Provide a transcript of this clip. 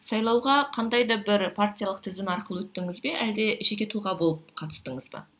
сайлауға қандай да бір партиялық тізім арқылы өттіңіз бе әлде жеке тұлға болып қатыстыңыз ба